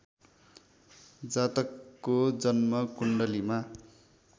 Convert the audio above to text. जातकको जन्मकुण्डलीमा